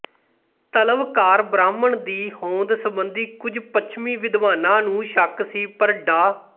ਤਲਵਕਾਰ ਬ੍ਰਾਹਮਣ ਦੀ ਹੋਂਦ ਸਬੰਧੀ ਕੁਝ ਪੱਛਮੀ ਵਿਦਵਾਨਾਂ ਨੂੰ ਸ਼ੱਕ ਸੀ ਪਰ ਡਾ